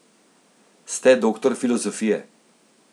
Ste doktor filozofije.